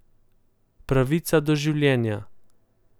Pravica do življenja.